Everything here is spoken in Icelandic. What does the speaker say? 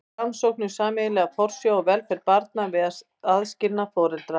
Rannsókn um sameiginlega forsjá og velferð barna við skilnað foreldra.